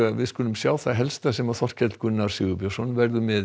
við skulum sjá það helsta sem Þorkell Gunnar Sigurbjörnsson verður með